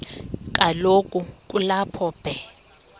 kaloku kulapho be